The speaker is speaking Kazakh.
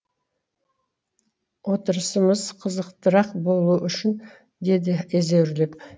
отырысымыз қызықтырақ болуы үшін деді езеуреп